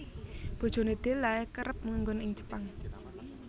Bojone Della kerep manggon ing Jepang